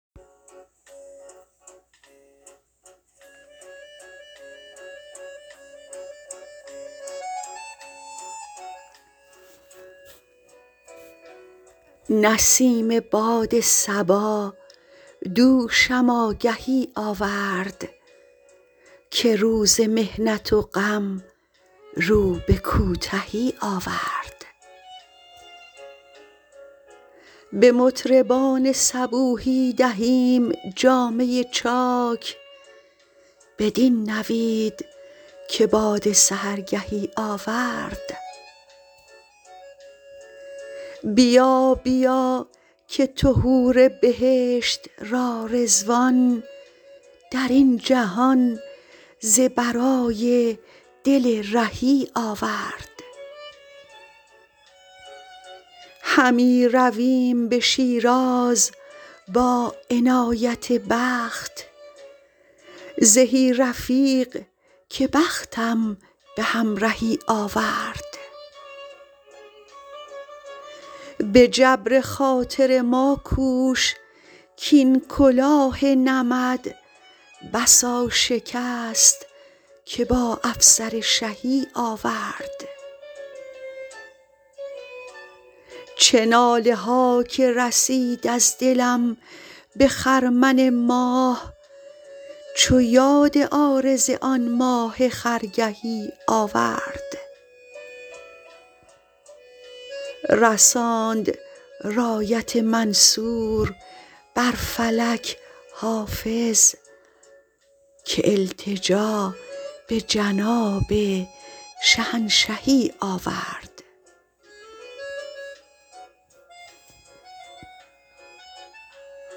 برید باد صبا دوشم آگهی آورد که روز محنت و غم رو به کوتهی آورد به مطربان صبوحی دهیم جامه چاک بدین نوید که باد سحرگهی آورد بیا بیا که تو حور بهشت را رضوان در این جهان ز برای دل رهی آورد همی رویم به شیراز با عنایت دوست زهی رفیق که بختم به همرهی آورد به جبر خاطر ما کوش کـ این کلاه نمد بسا شکست که با افسر شهی آورد چه ناله ها که رسید از دلم به خرمن ماه چو یاد عارض آن ماه خرگهی آورد رساند رایت منصور بر فلک حافظ که التجا به جناب شهنشهی آورد